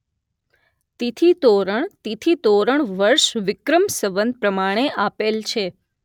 તિથીતોરણ તિથીતોરણવર્ષ વિક્રમ સંવત પ્રમાણે આપેલ છે